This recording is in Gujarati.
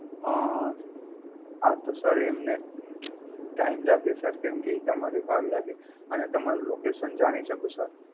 આન્, હાઁ તો Sir એમને Time લાગે Sir કેમકે તમારે વાર લાગે અને તમારું Location જાણી શકું Sir?